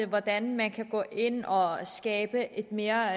hvordan man kan gå ind og skabe et mere